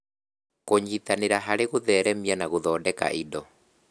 Kũnyitanĩra harĩ gũtheremia na gũthondeka indo